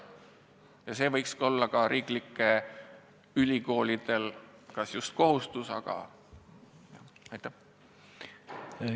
Ja see võikski olla ka riiklike ülikoolide kas just kohustus, aga vähemalt südameasi.